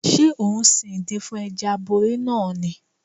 Ṣé ò ń sin ìdin fún Ẹja aborí náà ni?